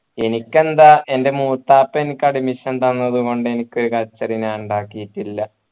എനിക്കെന്താ എൻ്റെ മൂത്താപ്പ എനിക്ക് admision തന്നതുകൊണ്ട് എനിക്ക് കച്ചറ ഞാൻ ഉണ്ടാക്കിട്ടില്ല